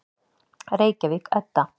Reykjavík, Edda.